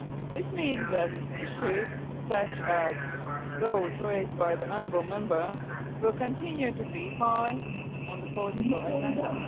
This means that issues such as those raised by the honourable Member will continue to be high on the political agenda.